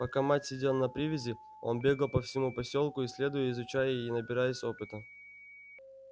пока мать сидела на привязи он бегал по всему посёлку исследуя изучая и набираясь опыта